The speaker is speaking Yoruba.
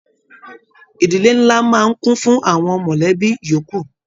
Ìdílé nlá máa ń kún fún àwọn mọlẹbi yòókù.